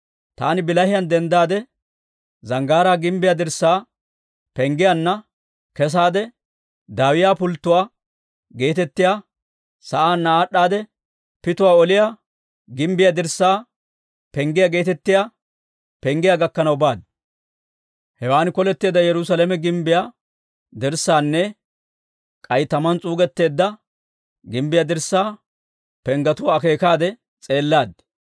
Taani bilahiyaan denddaade, Zanggaaraa gimbbiyaa dirssaa Penggiyaanna kesaade, Dawiyaa Pulttuwaa geetettiyaa sa'aanna aad'd'a, Pituwaa Oliyaa gimbbiyaa dirssaa Penggiyaa geetettiyaa penggiyaa gakkanaw baaddi. Hewaan koletteedda Yerusaalame gimbbiyaa dirssaanne k'ay tamaan s'uugetteedda gimbbiyaa dirssaa penggetuwaa akeekaade s'eellaaddi.